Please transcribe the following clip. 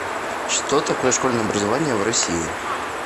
что такое школьное образование в россии